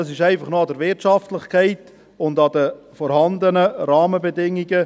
Es scheiterte bisher einfach noch an der Wirtschaftlichkeit und an den im Moment vorhandenen Rahmenbedingungen.